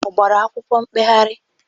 Ọ gbara akwụkwọ mkpegharị?